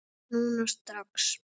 Núna strax?